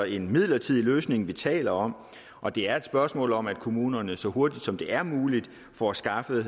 en midlertidig løsning vi taler om og det er et spørgsmål om at kommunerne så hurtigt som det er muligt får skaffet